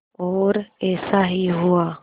और ऐसा ही हुआ